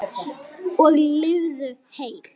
Og lifðu heil!